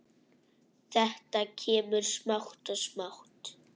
Þetta kemur smátt og smátt.